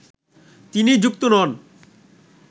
তিনি যুক্ত নন